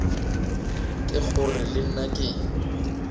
ke gore le nna ke